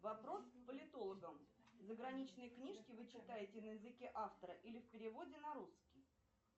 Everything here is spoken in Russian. вопрос к политологам заграничные книжки вы читаете на языке автора или в переводе на русский